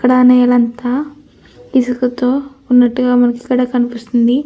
ఇక్కడ నేలంతా ఇసుకతో ఉన్నట్టుగా మనకి ఇక్కడ కనిపిస్తుంది.